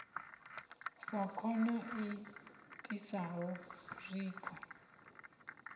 sa khono i itisaho zwikho